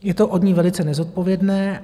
Je to od ní velice nezodpovědné.